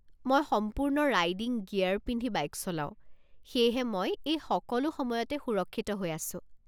মই সম্পূৰ্ণ riding gear পিন্ধি বাইক চলাওঁ, সেয়েহে মই এই সকলো সময়তে সুৰক্ষিত হৈ আছো।